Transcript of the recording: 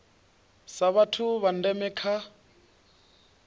sa vhathu vha ndeme kha